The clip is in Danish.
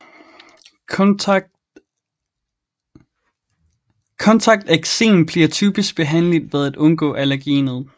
Kontakteksem bliver typisk behandligt ved at undgå allergenet